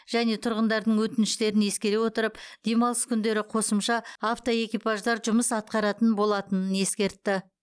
және тұрғындардың өтініштерін ескере отырып демалыс күндері қосымша автоэкипаждар жұмыс атқаратын болатынын ескертті